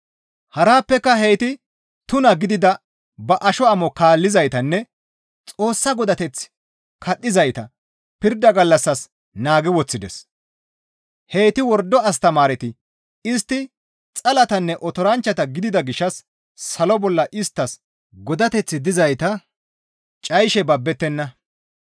Harappeka heyti tuna gidida ba asho amo kaallizaytanne Xoossa Godateth kadhizayta pirda gallassas naagi woththides. Heyti wordo astamaareti istti xalatanne otoranchchata gidida gishshas salo bolla isttas godateththi dizayta cayishe babbettenna.